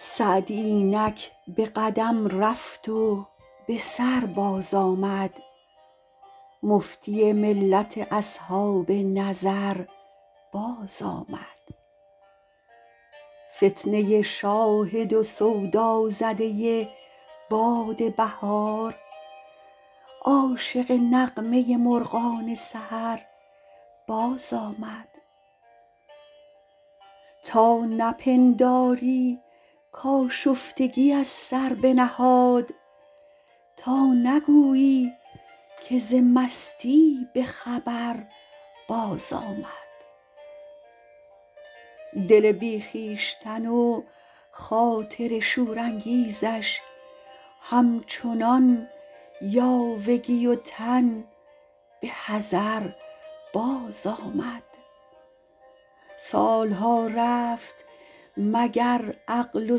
سعدی اینک به قدم رفت و به سر باز آمد مفتی ملت اصحاب نظر باز آمد فتنه شاهد و سودازده باد بهار عاشق نغمه مرغان سحر باز آمد تا نپنداری کآشفتگی از سر بنهاد تا نگویی که ز مستی به خبر بازآمد دل بی خویشتن و خاطر شورانگیزش همچنان یاوگی و تن به حضر بازآمد سالها رفت مگر عقل و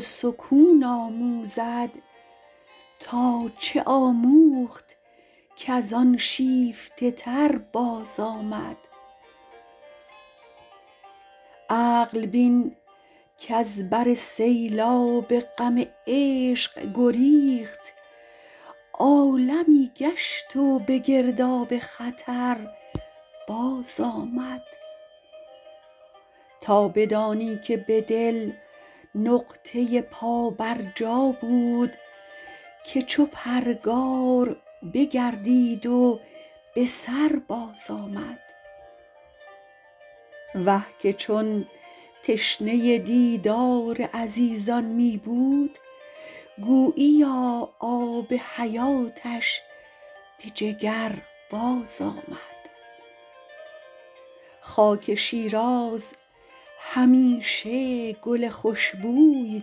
سکون آموزد تا چه آموخت کز آن شیفته تر بازآمد عقل بین کز بر سیلاب غم عشق گریخت عالمی گشت و به گرداب خطر بازآمد تا بدانی که به دل نقطه پابرجا بود که چو پرگار بگردید و به سر بازآمد وه که چون تشنه دیدار عزیزان می بود گوییا آب حیاتش به جگر بازآمد خاک شیراز همیشه گل خوشبوی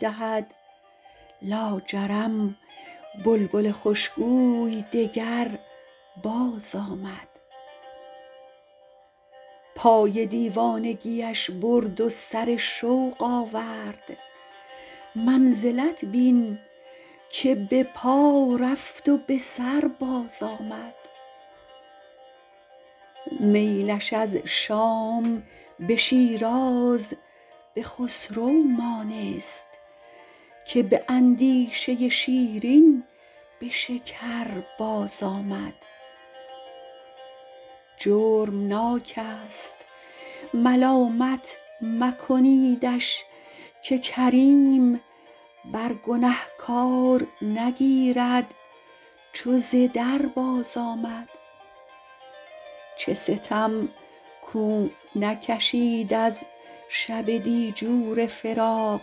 دهد لاجرم بلبل خوشگوی دگر بازآمد پای دیوانگیش برد و سر شوق آورد منزلت بین که به پا رفت و به سر بازآمد میلش از شام به شیراز به خسرو مانست که به اندیشه شیرین ز شکر بازآمد جرم ناک است ملامت مکنیدش که کریم بر گنهکار نگیرد چو ز در بازآمد چه ستم کو نکشید از شب دیجور فراق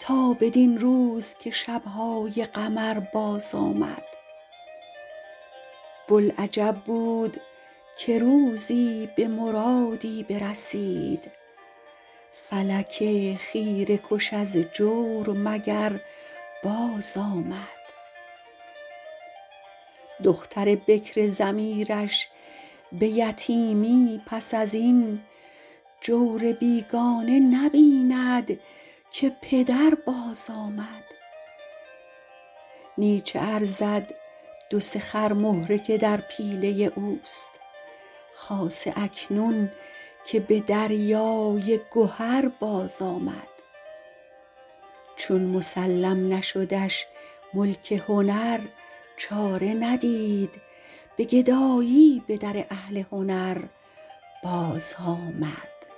تا بدین روز که شبهای قمر بازآمد بلعجب بود که روزی به مرادی برسید فلک خیره کش از جور مگر بازآمد دختر بکر ضمیرش به یتیمی پس از این جور بیگانه نبیند که پدر بازآمد نی چه ارزد دو سه خر مهره که در پیله اوست خاصه اکنون که به دریای گهر بازآمد چون مسلم نشدش ملک هنر چاره ندید به گدایی به در اهل هنر بازآمد